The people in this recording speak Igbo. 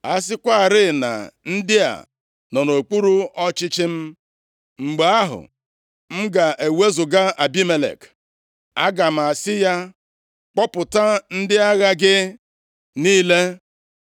A sịkwarị na ndị a nọ nʼokpuru ọchịchị m, mgbe ahụ, m ga-ewezuga Abimelek. Aga m asị ya, ‘Kpọpụta ndị agha gị niile.’ ”